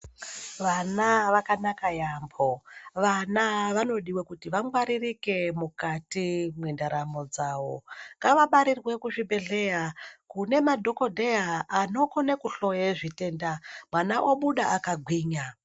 Vana vakanaka yambo, vana vanodiwa kuti vangwaririke mukati mendaramo dzavo, ngavabarirwe kuzvibhedhlera kune madhokoteya anogone kuhloye zvitenda mwana obuda akagwinya.